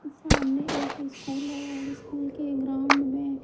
सामने एक स्कूल है और इस स्कूल के ग्राउंड में--